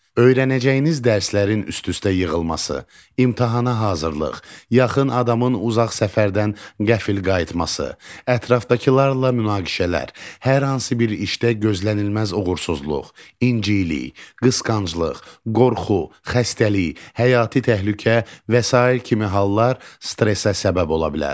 Öyrənəcəyiniz dərslərin üst-üstə yığılması, imtahana hazırlıq, yaxın adamın uzaq səfərdən qəfil qayıtması, ətrafdakılarla münaqişələr, hər hansı bir işdə gözlənilməz uğursuzluq, incilik, qısqanclıq, qorxu, xəstəlik, həyati təhlükə və sair kimi hallar stressə səbəb ola bilər.